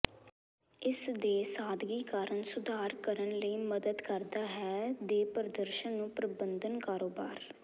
ਇਸ ਦੇ ਸਾਦਗੀ ਕਾਰਨ ਸੁਧਾਰ ਕਰਨ ਲਈ ਮਦਦ ਕਰਦਾ ਹੈ ਦੇ ਪ੍ਰਦਰਸ਼ਨ ਨੂੰ ਪ੍ਰਬੰਧਨ ਕਾਰੋਬਾਰ